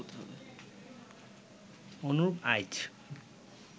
অনুরূপ আইচ